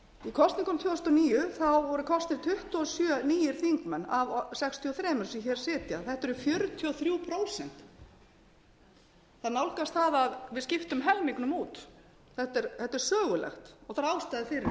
þúsund og níu voru kosnir tuttugu og sjö nýir þingmenn af sextíu og þrjú sem hér sitja þetta eru fjörutíu og þrjú prósent það nálgast það að við skiptum helmingnum út þetta er sögulegt og það er ástæða fyrir þessu það er að sjálfsögðu bankahrunið